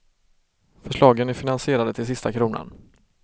Förslagen är finansierade till sista kronan.